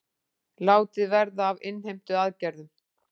Látið verði af innheimtuaðgerðum